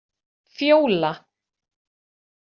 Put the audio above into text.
Fjóla